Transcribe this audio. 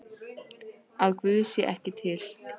Að Guð sé ekki til?